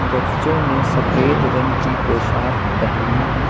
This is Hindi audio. बच्चों ने सफेद रंग की पोशाक पहनी है।